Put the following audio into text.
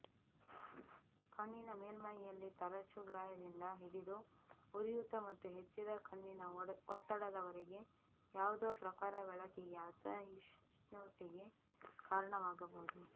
ಕಣ್ಣಿನ ಮೇಲ್ಮೈಯಲ್ಲಿ ತರಚು ಗಾಯದಿಂದ ಹಿಡಿದು ಉರಿಯೂತ ಮತ್ತು ಹೆಚ್ಚಿದ ಕಣ್ಣಿನ ಒತ್ತಡದವರೆಗೆ ಯಾವುದೂ ಪ್ರಖರ ಬೆಳಕಿಗೆ ಅಸಹಿಷ್ಣುತೆಗೆ ಕಾರಣವಾಗಬಹುದು